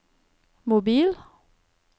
mobil